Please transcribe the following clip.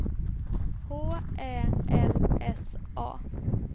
H Ä L S A